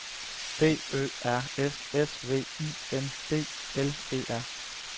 B Ø R S S V I N D L E R